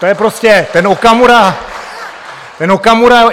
To je prostě, ten Okamura, ten Okamura!